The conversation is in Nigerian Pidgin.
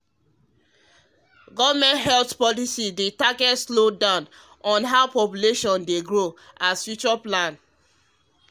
government health policy dey target slow down how population dey grow as future plan